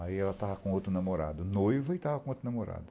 Aí ela tava com outro namorado, noiva e tava com outro namorado.